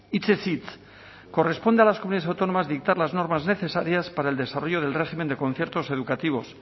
hitzez hitz corresponde a las comunidades autónomas dictar las normas necesarias para el desarrollo del régimen de conciertos educativos